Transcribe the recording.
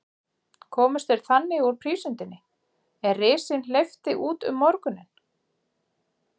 Komust þeir þannig úr prísundinni, er risinn hleypti út um morguninn.